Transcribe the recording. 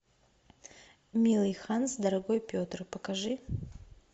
милый ханс дорогой петр покажи